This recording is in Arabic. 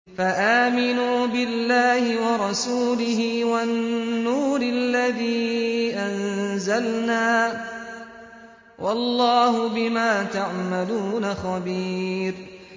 فَآمِنُوا بِاللَّهِ وَرَسُولِهِ وَالنُّورِ الَّذِي أَنزَلْنَا ۚ وَاللَّهُ بِمَا تَعْمَلُونَ خَبِيرٌ